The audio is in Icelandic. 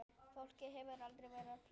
Fólkið hefur aldrei verið fleira.